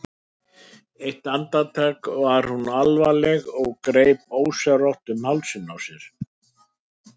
Eitt andartak var hún alvarleg og greip ósjálfrátt um hálsinn á sér.